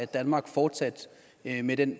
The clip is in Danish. danmark fortsat med med den